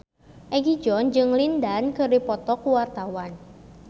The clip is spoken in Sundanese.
Egi John jeung Lin Dan keur dipoto ku wartawan